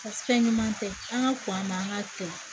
Paseke fɛn ɲuman tɛ an ka kɔn an ma an ka to